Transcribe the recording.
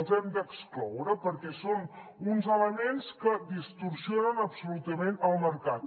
els hem d’excloure perquè són uns elements que distorsionen absolutament el mercat